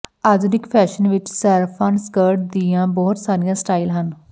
ਆਧੁਨਿਕ ਫੈਸ਼ਨ ਵਿੱਚ ਸਾਰਫਾਨ ਸਕਰਟ ਦੀਆਂ ਬਹੁਤ ਸਾਰੀਆਂ ਸਟਾਈਲ ਹਨ